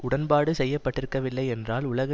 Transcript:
உடன்பாடு செய்ய பட்டிருக்கவில்லை என்றால் உலக